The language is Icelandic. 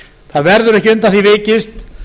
það verður ekki undan því vikist